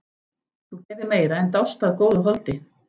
Þú gerðir meira en dást að góðu holdi.